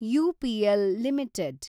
UPL limited